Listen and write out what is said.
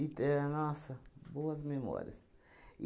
éh, nossa, boas memórias.